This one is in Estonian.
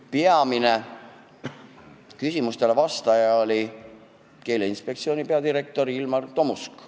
Peamiselt vastas küsimustele Keeleinspektsiooni peadirektor Ilmar Tomusk.